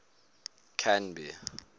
canby